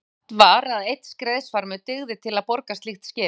Sagt var að einn skreiðarfarmur dygði til að borga slíkt skip.